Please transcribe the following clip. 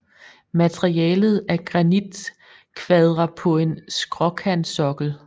Materialet er granitkvadre på en skråkantsokkel